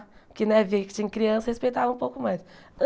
Porque, né, vê que tinha criança, respeitava um pouco mais.